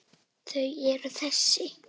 Þau eru þessi: